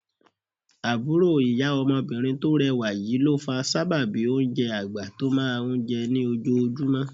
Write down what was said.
Àbúrò ìyá ọmọbìnrin tó rẹwà yìí ló fa sábàbí oúnjẹ àgbà tó máa ń jẹ ní ojoojúmọ́